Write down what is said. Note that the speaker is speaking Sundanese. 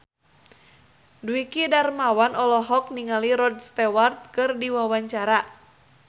Dwiki Darmawan olohok ningali Rod Stewart keur diwawancara